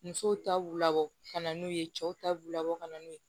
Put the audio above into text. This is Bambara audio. Musow ta b'u labɔ ka na n'u ye cɛw ta b'u labɔ ka na n'u ye